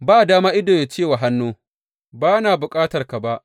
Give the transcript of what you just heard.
Ba dama ido ya ce wa hannu, Ba na bukatarka ba!